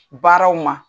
Baaraw ma